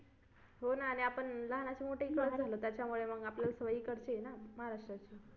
हो ना आणि आपण लहानाचे मोठे इकडेच झालो त्यामुळे त्याच्यामुळे मग आपल्याला सवय इकडची आहे ना महाराष्ट्राची